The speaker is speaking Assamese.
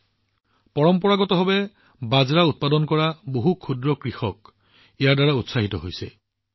এফালে পৰম্পৰাগতভাৱে বাজৰা উৎপাদন কৰা ক্ষুদ্ৰ কৃষকসকল অতি উৎসাহিত হৈছে